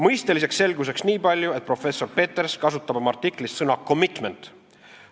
Mõisteliseks selgituseks niipalju, et professor Peters kasutab oma artiklis sõna commitment.